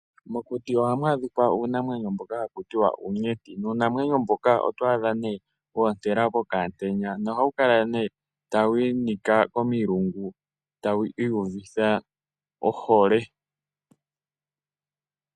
Mokuti ohamu adhika uunamwenyo mboka haku tiwa uunyenti, nuu namwenyo mbuka oto adha nee woontela mokaa ntenya noha wu kala nee tawu inika komi lungu tawu iyuvitha ohole.